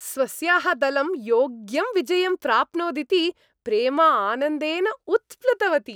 स्वस्याः दलं योग्यं विजयं प्राप्नोदिति प्रेमा आनन्देन उत्प्लुतवती।